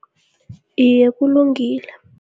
Iye, kulungile.